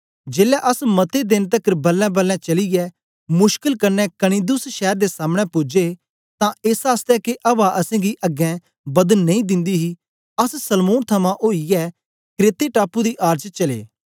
जेलै अस मते देन तकर बलेंबलें चलीयै मुश्कल कन्ने कनिदुस शैर दे सामने पूजे तां एसआसतै के अवा असेंगी अगें बदन नेई दिंदी ही अस सलमोन थमां ओईयै क्रेते टापू दी आड़ च चलै